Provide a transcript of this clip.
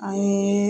An ye